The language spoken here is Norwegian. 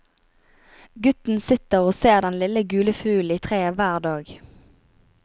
Gutten sitter og ser den lille gule fuglen i treet hver dag.